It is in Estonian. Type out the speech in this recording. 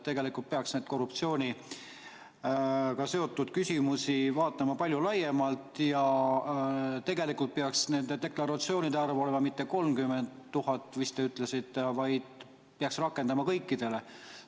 Tegelikult peaks neid korruptsiooniga seotud küsimusi vaatama palju laiemalt ja tegelikult peaks nende deklaratsioonide arv olema mitte 30 000, nagu te vist ütlesite, vaid seda peaks rakendama kõikidele.